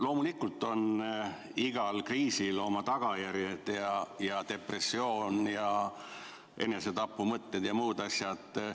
Loomulikult on igal kriisil oma tagajärjed – depressioon ja enesetapumõtted ja muud asjad.